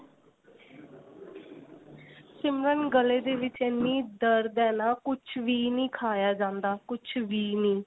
ਸਿਮਰਨ ਗਲੇ ਦੇ ਵਿੱਚ ਇੰਨੀ ਦਰਦ ਏ ਨਾ ਕੁੱਝ ਵੀ ਨਹੀ ਖਾਇਆ ਜਾਂਦਾ ਕੁੱਝ ਵੀ ਨੀ